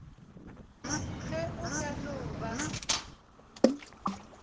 ge o ka no ba